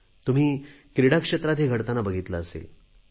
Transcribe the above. तुम्ही क्रीडाक्षेत्रात हे घडताना पाहिले असेल